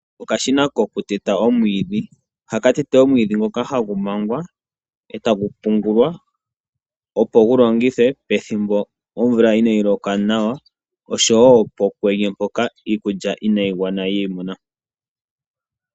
Okashina ko ku teta omwiidhi. Oha ka tete omwiidhi ngoka hagu mangwa eta gu pungulwa opo gu longithwe pethimbo omvula inaayi loka nawa ,osho woo pokwenye mpoka iikulya inaayi gwana.